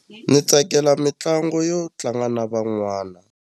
Ni tsakela mitlangu yo tlanga na van'wana.